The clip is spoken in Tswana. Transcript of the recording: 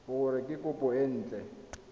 gore ke kopo e nt